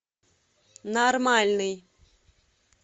нормальный